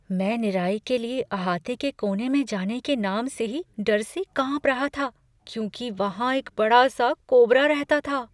मैं निराई के लिए अहाते के कोने में जाने के नाम से ही डर से कांप रहा था क्योंकि वहाँ एक बड़ा सा कोबरा रहता था।